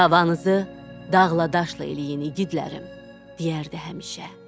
Davanızı dağla daşla eləyin iqidlərəm, deyərdi həmişə.